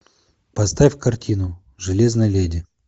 поставь картину железная леди